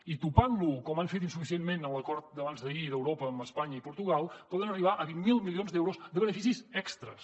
i topant lo com han fet insuficientment en l’acord d’abans d’ahir d’europa amb espanya i portugal poden arribar a vint miler milions d’euros de beneficis extres